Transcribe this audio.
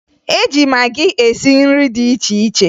E ji magị esi nri dị iche iche